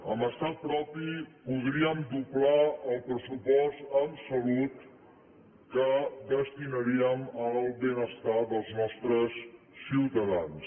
amb estat propi podríem doblar el pressupost en salut que destinaríem al benestar dels nostres ciutadans